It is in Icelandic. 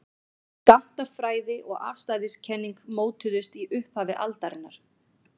skammtafræði og afstæðiskenning mótuðust í upphafi aldarinnar